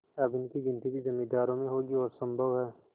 अब इनकी गिनती भी जमींदारों में होगी और सम्भव है